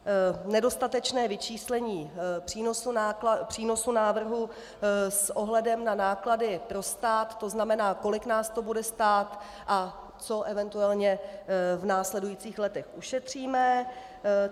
Nedostatečné vyčíslení přínosu návrhu s ohledem na náklady pro stát, to znamená, kolik nás to bude stát a co eventuálně v následujících letech ušetříme.